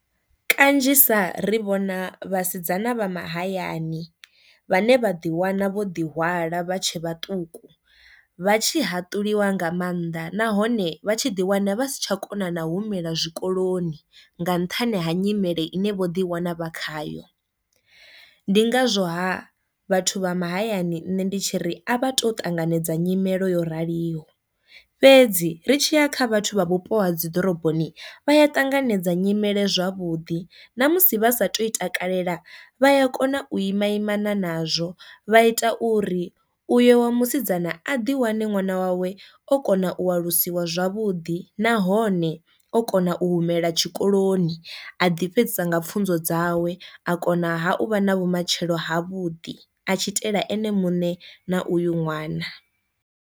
Kanzhisa ri vhona vhasidzana vha mahayani vhane vha ḓi wana vho ḓi hwala vha tshe vhaṱuku vha tshi haṱuliwa nga maanḓa nahone vha tshi ḓi wana vha si tsha kona na humela zwikoloni nga nṱhani ha nyimele ine vho ḓi wana vha khayo. Ndi ngazwo ha vhathu vha mahayani nṋe ndi tshi ri a vha to ṱanganedza nyimele yo raliho, fhedzi ri tshiya kha vhathu vha vhupo ha dzi ḓoroboni vha ya ṱanganedza nyimele zwavhuḓi ṋamusi vha sa tu i takalela vha a kona u ima imana nazwo vha ita uri uyo wa musidzana a ḓi wane ṅwana wawe o kona u alusiwa zwavhuḓi nahone o kona na u humela tshikoloni a ḓi fhedzisa nga pfunzo dzawe a kona ha u vha na vhumatshelo ha vhuḓi a tshi itela ene munṋe na uyu ṅwana.